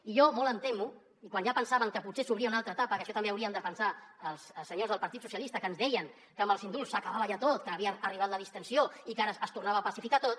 i jo molt em temo quan ja pensàvem que potser s’obria una altra etapa que això també hi haurien de pensar els senyors del partit socialista que ens deien que amb els indults s’acabava ja tot que havia arribat la distensió i que ara es tornava a pacificar tot